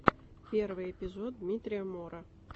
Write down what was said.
первый эпизод дмитрия мора